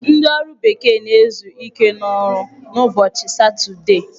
Ndị ọrụ bekee na-ezu ike n'ọrụ n'ụbọchị satọdee.